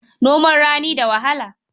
Noman rani da wahala.